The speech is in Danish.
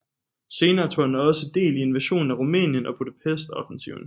Senere tog han også del i invasionen af Rumænien og Budapest offensiven